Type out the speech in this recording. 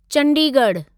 चंडीगढ़ु